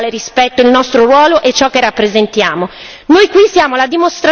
Un punto resta essenziale rispetto al nostro ruolo e ciò che rappresentiamo.